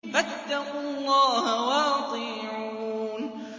فَاتَّقُوا اللَّهَ وَأَطِيعُونِ